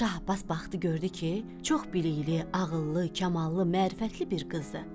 Şah Abbas baxdı gördü ki, çox bilikli, ağıllı, kamallı, mərifətli bir qızdı.